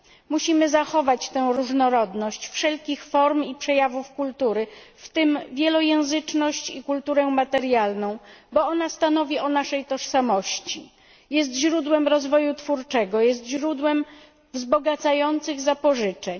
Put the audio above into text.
Musimy zachować tę różnorodność wszelkich form i przejawów kultury, w tym wielojęzyczność i kulturę materialną, bo ona stanowi o naszej tożsamości, jest źródłem rozwoju twórczego, źródłem wzbogacających zapożyczeń.